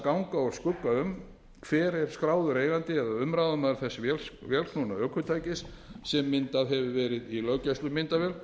ganga úr skugga um hver er skráður eigandi eða umráðamaður þess vélknúna ökutækis sem myndað hefur verið í löggæslumyndavél